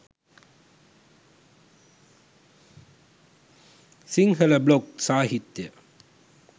Sinhala blog සාහිත්‍යය